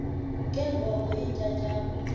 ke ngoko iintyatyambo